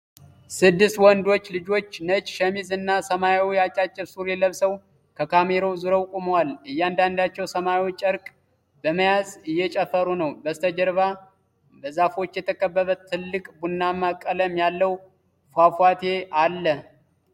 ስድስት ወንዶች ልጆች ነጭ ሸሚዝ እና ሰማያዊ አጫጭር ሱሪ ለብሰው ከካሜራው ዞረው ቆመዋል። እያንዳንዳቸው ሰማያዊ ጨርቅ በመያዝ እየተጨፈሩ ነው። በስተጀርባ በዛፎች የተከበበ ትልቅ ቡናማ ቀለም ያለው ፏፏቴ ኣለ።